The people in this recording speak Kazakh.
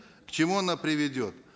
к чему она приведет